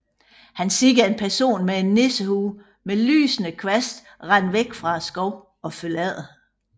Han ser en person med en nissehue med lysende kvast løbe væk fra skoven og følger efter